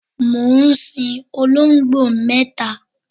mò ń sin olongbo mẹta